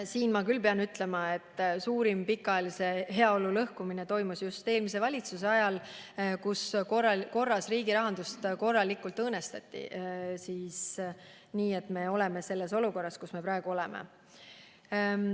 Siin ma pean küll ütlema, et suurim pikaajalise heaolu lõhkumine toimus just eelmise valitsuse ajal, kui korras riigirahandust korralikult õõnestati, mistõttu me olemegi praegu selles olukorras, kus me oleme.